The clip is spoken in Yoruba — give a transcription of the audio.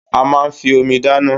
A máa ń fi Omi dáná